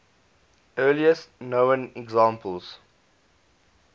earliest known examples